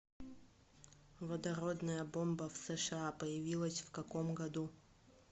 водородная бомба в сша появилась в каком году